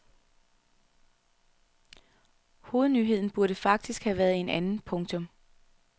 Hovednyheden burde faktisk have været en anden. punktum